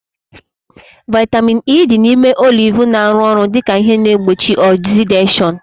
Vaitamin E dị n'ime oliv na-arụ ọrụ dịka ihe na-egbochi ọzideshọnu